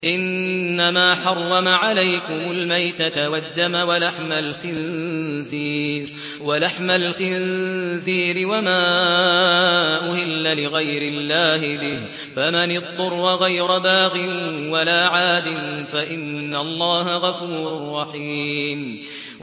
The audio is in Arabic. إِنَّمَا حَرَّمَ عَلَيْكُمُ الْمَيْتَةَ وَالدَّمَ وَلَحْمَ الْخِنزِيرِ وَمَا أُهِلَّ لِغَيْرِ اللَّهِ بِهِ ۖ فَمَنِ اضْطُرَّ غَيْرَ بَاغٍ وَلَا عَادٍ فَإِنَّ اللَّهَ غَفُورٌ رَّحِيمٌ